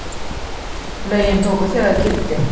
lögin tóku þegar gildi